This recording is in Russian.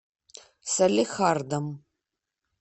салехардом